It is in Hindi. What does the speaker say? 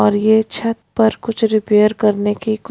और ये छत पर कुछ रिपेयर करने की को--